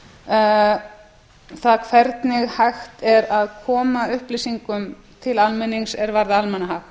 um það hvernig hægt er að koma upplýsingum til almennings er varða almannahag